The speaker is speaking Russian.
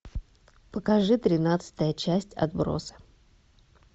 покажи тринадцатая часть отбросы